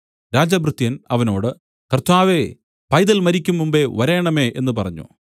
രാജഭൃത്യൻ അവനോട് കർത്താവേ പൈതൽ മരിക്കുംമുമ്പേ വരേണമേ എന്നു പറഞ്ഞു